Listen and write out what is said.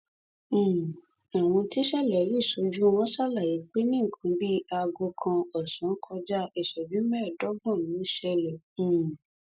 sọyìnkà ni ìlú yìí ti bàjẹ bàjẹ kọjá sísọ ọrọ ààbò tó mẹhẹ ló sì burú jù nínú ìbàjẹ náà